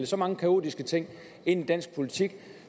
så mange kaotiske ting ind i dansk politik og